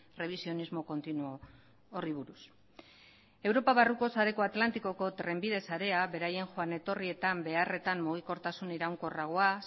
revisionismo continuo horri buruz europa barruko sareko atlantikoko trenbide sarea beraien joan etorrietan beharretan mugikortasun iraunkorragoa